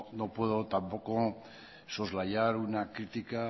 no puedo tampoco soslayar una crítica